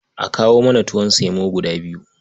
A kawo mana tuwon semo guda biyu.